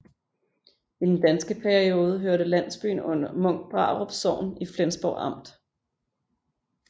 I den danske periode hørte landsbyen under Munkbrarup Sogn i Flensborg Amt